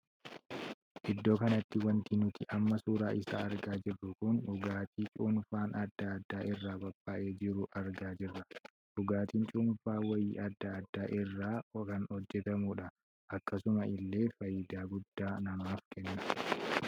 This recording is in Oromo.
Iddoo kanatti wanti nuti amma suuraa isaa argaa jirru kun dhugaatii cuunfaan addaa addaa irraa qophaa'ee jiruu argaa jira. dhugaatiin cuunfaa wayiin addaa adda irraa kan hojjetamuudha. akkasuma illee faayidaa guddaa namaaf kenna.